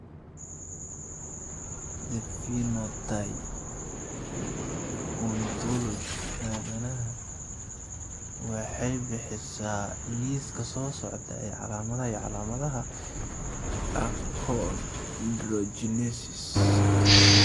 The Phenotype Ontology aadanaha waxay bixisaa liiska soo socda ee calaamadaha iyo calaamadaha Achondrogenesis.